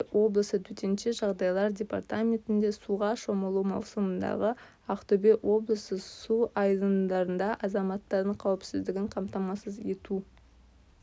ақтөбе облысы төтенше жағдайлар департаментінде суға шомылу маусымындағы ақтөбе облысы су айдындарында азаматтардың қауіпсіздігін қамтамасыз ету